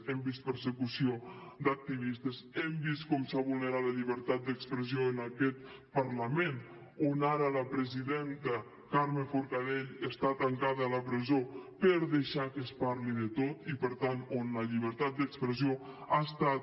hem vist persecució d’activistes hem vist com s’ha vulnerat la llibertat d’expressió en aquest parlament d’on ara la presidenta carme forcadell està tancada a la presó per haver deixat que es parli de tot i per tant on la llibertat d’expressió ha estat